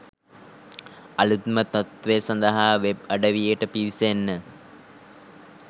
අලුත්ම තත්ත්තවය සඳහා වෙබ් අඩවියට පිවිසෙන්න